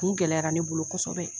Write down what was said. kun gɛlɛyara ne bolo kɔsɔbɛ.